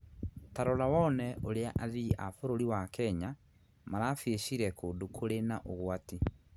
Ta rora wone ũrĩa athii a bũrũri wa Kenya marabĩicire kũndũ kũrĩ na ũgwati